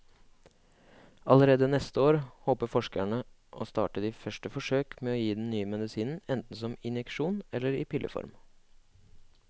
Allerede neste år håper forskerne å starte de første forsøk med å gi den nye medisinen enten som injeksjon eller i pilleform.